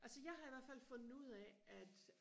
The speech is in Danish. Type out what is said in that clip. altså jeg har i hvertfald fundet ud af at